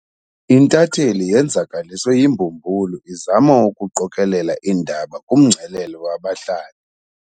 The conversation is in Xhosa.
Intatheli yenzakaliswe yimbumbulu izama ukuqokelela iindaba kumngcelele wabahlali.